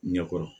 Ɲɛkɔrɔ